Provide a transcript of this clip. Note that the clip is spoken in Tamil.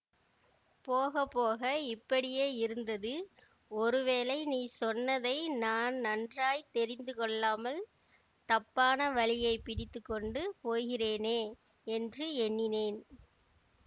போக போக இப்படியே இருந்தது ஒருவேளை நீ சொன்னதை நான் நன்றாய் தெரிந்து கொள்ளாமல் தப்பான வழியை பிடித்து கொண்டு போகிறேனே என்று எண்ணினேன்